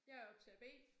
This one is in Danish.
Jeg optager B